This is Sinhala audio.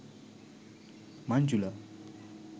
manjula